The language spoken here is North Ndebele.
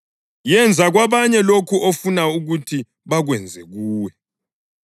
Yenza kwabanye lokho ofuna ukuthi bakwenze kuwe.